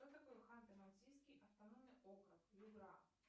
что такое ханты мансийский автономный округ югра